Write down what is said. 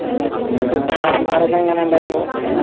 എങ്ങനെ ഇണ്ടേനു